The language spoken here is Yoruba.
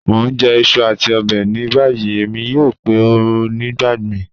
Mo n jẹ iṣu ati ọbẹ ni bayi, Emi yoo pe ọ nigbamii.